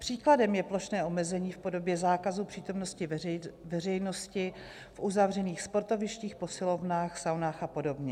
Příkladem je plošné omezení v podobě zákazu přítomnosti veřejnosti v uzavřených sportovištích, posilovnách, saunách a podobně.